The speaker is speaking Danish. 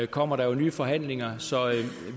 kommer der jo nye forhandlinger så